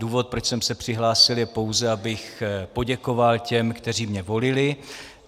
Důvod, proč jsem se přihlásil, je pouze, abych poděkoval těm, kteří mě volili.